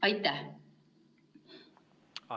Aitäh!